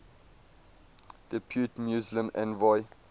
depute muslim envoy